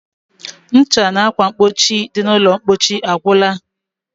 Ncha na akwamkpochi dị n'ụlọmkpochi agwụla